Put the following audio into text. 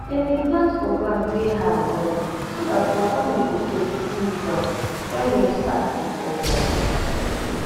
dem dey plant for ground wey high wella so dat wata no go choke full ground wen rain start dey fall normali